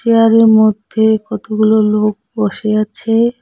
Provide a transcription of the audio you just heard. চেয়ারের মধ্যে কতগুলো লোক বসে আছে।